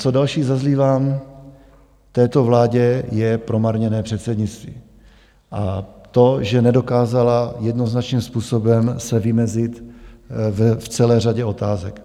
Co další zazlívám této vládě, je promarněné předsednictví a to, že nedokázala jednoznačným způsobem se vymezit v celé řadě otázek.